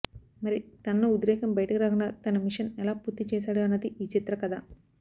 మరి తనలో ఉద్రేకం బయటకు రాకుండా తన మిషన్ ఎలా పూర్తి చేశాడు అన్నది ఈ చిత్ర కథ